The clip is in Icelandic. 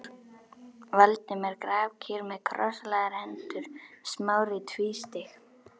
Valdimar grafkyrr með krosslagðar hendur, Smári tvístíg